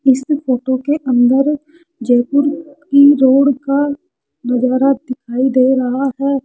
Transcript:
इस फोटो के अंदर जयपुर की रोड का नजारा दिखाई दे रहा है।